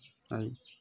Ayi